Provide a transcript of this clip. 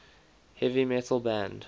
heavy metal band